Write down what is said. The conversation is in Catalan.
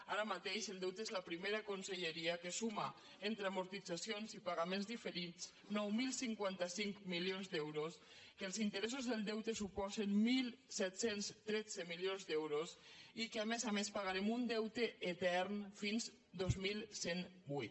ara mateix el deute és la primera conselleria que suma entre amortitzacions i pagaments diferits nou mil cinquanta cinc milions d’euros que els interessos del deute suposen disset deu tres milions d’euros i que a més a més pagarem un deute etern fins al dos mil cent i vuit